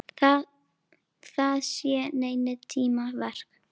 Það sé seinni tíma verk.